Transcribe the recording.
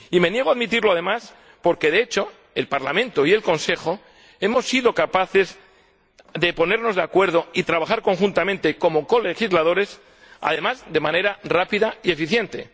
Y me niego a admitirlo además porque, de hecho, el Parlamento y el Consejo hemos sido capaces de ponernos de acuerdo y trabajar conjuntamente como colegisladores, además de manera rápida y eficiente.